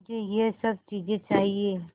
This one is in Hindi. मुझे यह सब चीज़ें चाहिएँ